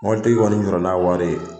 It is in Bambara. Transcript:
Mɔbilitigi kɔni jɔra na wari ye.